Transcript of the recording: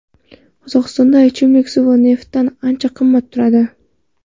Qozog‘istonda ichimlik suvi neftdan ancha qimmat turadi.